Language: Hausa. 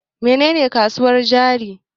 Mene ne kasuwar jari?